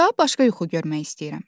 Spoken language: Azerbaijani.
"Daha başqa yuxu görmək istəyirəm."